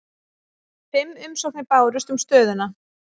Fimm umsóknir bárust um stöðuna